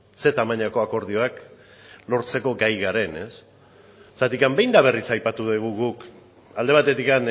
ze tamainako akordioak lortzeko gai garen behin eta berriz aipatu dugu alde batetik